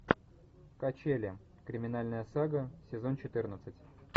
качели криминальная сага сезон четырнадцать